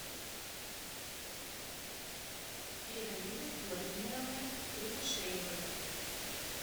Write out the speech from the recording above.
ираидой владимировной кривошеевой